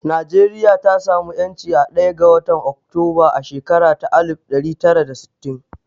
Najeriya ta sa mu ƴanci a ɗaya ga watan Oktoba a shakara ta alif ɗari tara da sittin